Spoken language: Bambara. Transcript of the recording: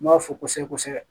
N b'a fɔ kosɛbɛ kosɛbɛ